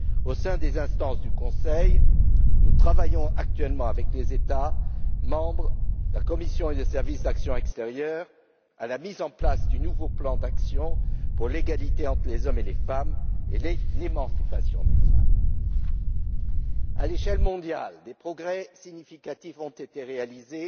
Au sein des instances du Conseil, nous travaillons actuellement avec les États membres, la Commission et le Service européen pour l'action extérieure à la mise en place du nouveau plan d'action pour l'égalité entre les hommes et les femmes et l'émancipation des femmes. À l'échelle mondiale, des progrès significatifs ont été réalisés